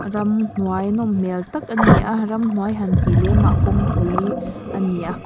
ramhnuai nawmhmel tak ani a ramhnuai hantih lemah kawngpui ani a--